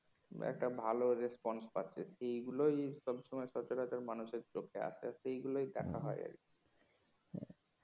একটা ভালো response পাচ্ছে সেগুলোই সব সময় সচরাচর মানুষের চোখে আসে আর সেই গুলোই দেখা হয় আর কি